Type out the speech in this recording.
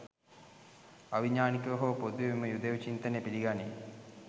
අවිඥානිකව හෝ පොදුවේ මෙම යුදෙව් චින්තනය පිළිගනී